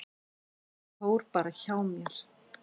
Ég fór bara hjá mér.